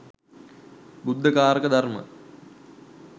බුද්ධ කාරක ධර්ම,